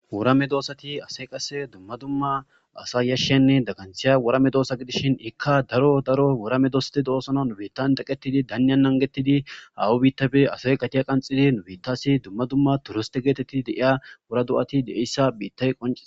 wurame doosati ase qase dumma dumma asa yashshenne daganthiya worame doosa gidishin ikka daro daro worame doste doosona nubettan deqqetidi danya nangetidi hawu biittabe asay qatiya qanxidi nubettasi dumma dumma turiste geetetti de7iya wura do7ati de7eyssa biittay qonciee